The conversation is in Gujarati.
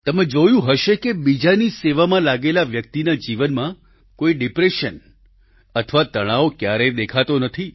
તમે જોયું હશે કે બીજાની સેવામાં લાગેલા વ્યક્તિના જીવનમાં કોઈ ડિપ્રેશન અથવા તણાવ ક્યારેય દેખાતો નથી